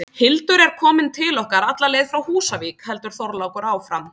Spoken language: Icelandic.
Hildur er komin til okkar alla leið frá Húsavík, heldur Þorlákur áfram.